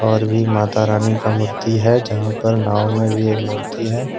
और भी माता रानी का मूर्ति है जहां पर नाव में भी एक मूर्ति है।